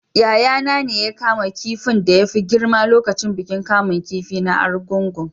Yayana ne ya kama kifin da ya fi girma lokacin bikin kamun kifi na argungu